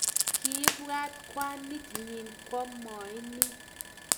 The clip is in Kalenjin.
kiibwat kwanit nyi komwaini